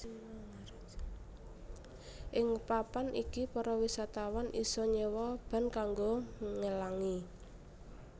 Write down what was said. Ing papan iki para wisatawan isa nyewa ban kanggo ngelangi